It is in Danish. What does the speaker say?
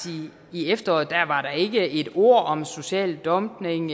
i efteråret var der ikke et ord om social dumping